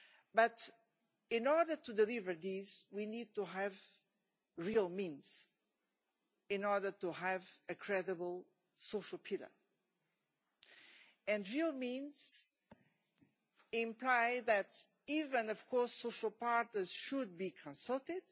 But in order to deliver this, we need to have real means in order to have a credible social pillar, and real means implies that even of course social partners should be consulted.